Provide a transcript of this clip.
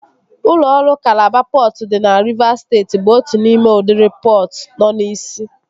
Ụlọ ọrụ Kalaba pọtụ dị na Rivas steeti bụ otu n'ime udiri pọtụ nọ n'isi